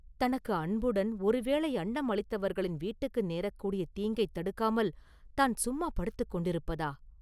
தனக்கு அன்புடன் ஒரு வேளை அன்னம் அளித்தவர்களின் வீட்டுக்கு நேரக்கூடிய தீங்கைத் தடுக்காமல் தான் சும்மா படுத்துக் கொண்டிருப்பதா?